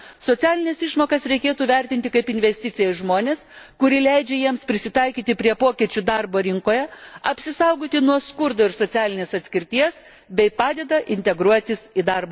Socialines išmokas reikėtų vertinti kaip investiciją į žmones, kuri leidžia jiems prisitaikyti prie pokyčių darbo rinkoje, apsisaugoti nuo skurdo ir socialinės atskirties bei padeda integruotis į darbo rinką.